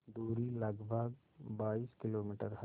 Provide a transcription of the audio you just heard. दूरी लगभग बाईस किलोमीटर है